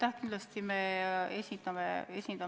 Jah, kindlasti me esindame rahvast.